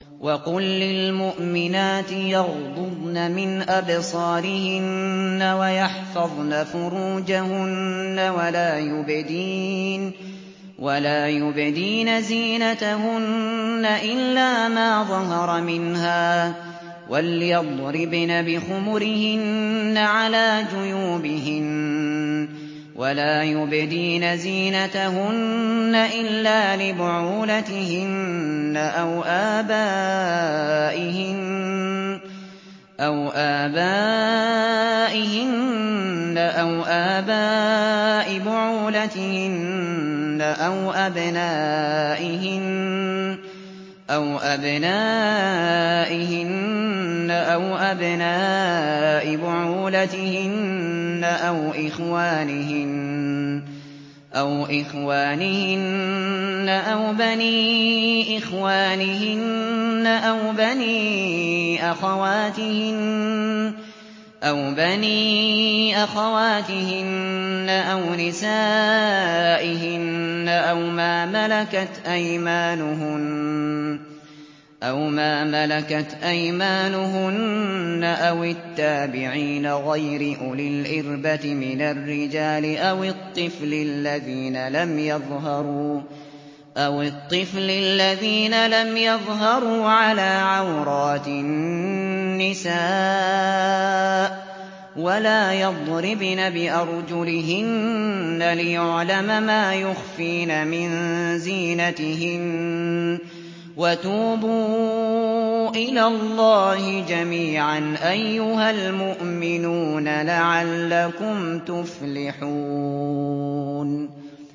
وَقُل لِّلْمُؤْمِنَاتِ يَغْضُضْنَ مِنْ أَبْصَارِهِنَّ وَيَحْفَظْنَ فُرُوجَهُنَّ وَلَا يُبْدِينَ زِينَتَهُنَّ إِلَّا مَا ظَهَرَ مِنْهَا ۖ وَلْيَضْرِبْنَ بِخُمُرِهِنَّ عَلَىٰ جُيُوبِهِنَّ ۖ وَلَا يُبْدِينَ زِينَتَهُنَّ إِلَّا لِبُعُولَتِهِنَّ أَوْ آبَائِهِنَّ أَوْ آبَاءِ بُعُولَتِهِنَّ أَوْ أَبْنَائِهِنَّ أَوْ أَبْنَاءِ بُعُولَتِهِنَّ أَوْ إِخْوَانِهِنَّ أَوْ بَنِي إِخْوَانِهِنَّ أَوْ بَنِي أَخَوَاتِهِنَّ أَوْ نِسَائِهِنَّ أَوْ مَا مَلَكَتْ أَيْمَانُهُنَّ أَوِ التَّابِعِينَ غَيْرِ أُولِي الْإِرْبَةِ مِنَ الرِّجَالِ أَوِ الطِّفْلِ الَّذِينَ لَمْ يَظْهَرُوا عَلَىٰ عَوْرَاتِ النِّسَاءِ ۖ وَلَا يَضْرِبْنَ بِأَرْجُلِهِنَّ لِيُعْلَمَ مَا يُخْفِينَ مِن زِينَتِهِنَّ ۚ وَتُوبُوا إِلَى اللَّهِ جَمِيعًا أَيُّهَ الْمُؤْمِنُونَ لَعَلَّكُمْ تُفْلِحُونَ